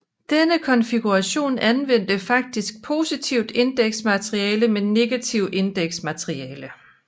Denne konfiguration anvendte faktisk positivt indeks materiale med negativt indeks materiale